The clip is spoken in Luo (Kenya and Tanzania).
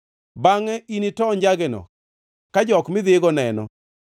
“Bangʼe initoo njageno ka jok midhigo neno,